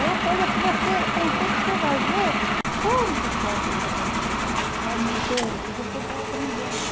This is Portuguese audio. É uma coisa que você, com o tempo, você vai ver quanto a tua vida vai crescendo, vai mudando, e você vai aprendendo.